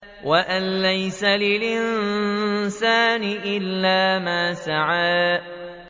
وَأَن لَّيْسَ لِلْإِنسَانِ إِلَّا مَا سَعَىٰ